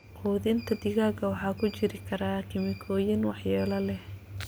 Quudinta digaaga waxa ku jiri kara kiimikooyin waxyeello leh.